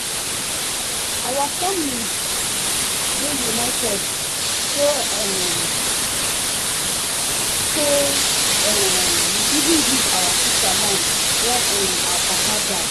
our family dey united so um tey um we even give our sisters land wen um our papa die